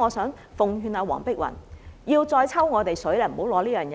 我想奉勸黃碧雲議員，不要再這樣向我們"抽水"，這樣真